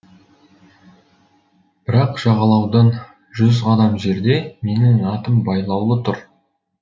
бірақ жағалаудан жүз қадам жерде менің атым байлаулы тұр